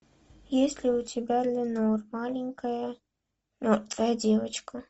есть ли у тебя ленор маленькая мертвая девочка